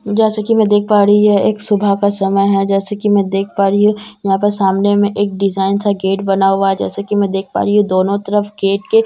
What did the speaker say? जैसा की मैं देख पा रही है एक सुबह का समय है जैसा की मैं देख पा रही हूँ यहाँ पर सामने में एक डिज़ाइन सा गेट बना हुआ है जैसा की मैं देख पा रही हूँ दोनों तरफ गेट के हंस बने--